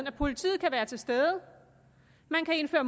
at politiet kan være til stede man kan indføre